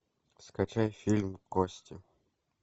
скачай фильм кости